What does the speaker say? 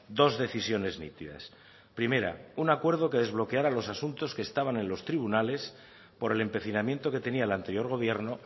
dos decisiones nítidas primera un acuerdo que desbloqueara los asuntos que estaban en los tribunales por el empecinamiento que tenía el anterior gobierno